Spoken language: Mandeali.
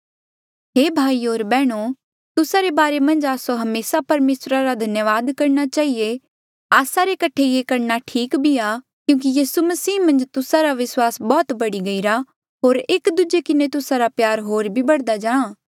हे भाईयो होर बैहणो तुस्सा रे बारे मन्झ आस्सो हमेसा परमेसरा रा धन्यावाद करणा चहिए आस्सा रे कठे ये करणा ठीक भी आ क्यूंकि यीसू मसीह मन्झ तुस्सा रा विस्वास बौह्त बढ़ी गईरा होर एक दूजे किन्हें तुस्सा रा प्यार होर भी ज्यादा बढ़दा जाहाँ